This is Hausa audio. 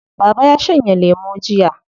Baba ya shanye lemo jiya.